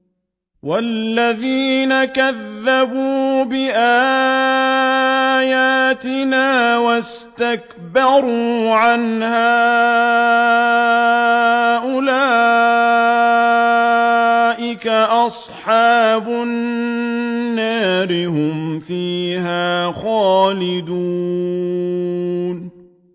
وَالَّذِينَ كَذَّبُوا بِآيَاتِنَا وَاسْتَكْبَرُوا عَنْهَا أُولَٰئِكَ أَصْحَابُ النَّارِ ۖ هُمْ فِيهَا خَالِدُونَ